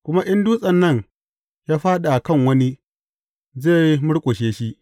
Kuma in dutsen nan ya fāɗi a kan wani, zai murƙushe shi.